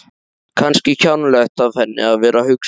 Kannski kjánalegt af henni að vera að hugsa svona.